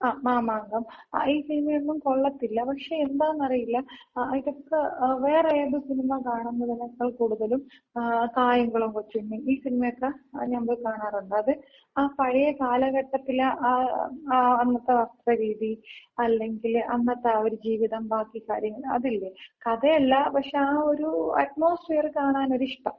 ങ്ങാ മാമാങ്കം. ഈ സിനിമയൊന്നും കൊള്ളത്തില്ല. പക്ഷെ എന്താന്നറിയില്ല. ഇതക്ക വേറെ ഏത് സിനിമ കാണുന്നതിനേക്കാൾ കൂടുതലും കായംകുളം കൊച്ചുണ്ണി, ഈ സിനിമയൊക്ക ഞാമ്പോയി കാണാറുണ്ട്. അത് ആ പഴയ കാലഘട്ടത്തില ആ ആ അന്നത്ത രീതി അല്ലെങ്കില് അന്നത്ത ആ ഒര് ജീവിതം ബാക്കി കാര്യങ്ങള് അതില്ലേ കഥയല്ല. പക്ഷെ, ആ ഒര് അറ്റ്മോസ്ഫിയറ് കാണാനൊരിഷ്ടം. മനസിലായോ?